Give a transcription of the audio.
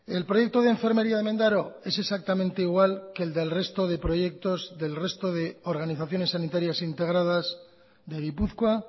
el proyecto de enfermería de mendaro es exactamente igual que el del resto de proyectos del resto de organizaciones sanitarias integradas de gipuzkoa